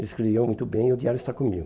Ele escrevia muito bem e o diário está comigo.